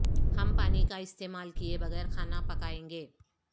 ہم پانی کا استعمال کئے بغیر کھانا پکائیں گے